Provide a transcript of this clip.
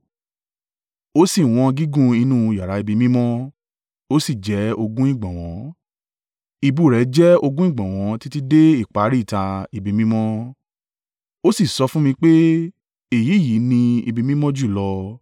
O sì wọn gígùn inú yàrá ibi mímọ́; o sì jẹ ogún ìgbọ̀nwọ́, ìbú rẹ̀ jẹ́ ogún ìgbọ̀nwọ́ títí dé ìparí ìta ibi mímọ́. O sì sọ fún mi pé, “Èyí yìí ni Ibi Mímọ́ Jùlọ.”